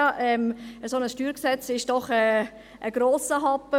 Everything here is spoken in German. Ein solches StG ist doch ein grosser Happen.